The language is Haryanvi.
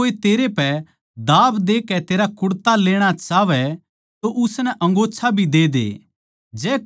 जै कोए तेरै पे दाब देकै तेरा कुड़ता लेणा चाहवै तो उसनै अंगोच्छा भी दे दे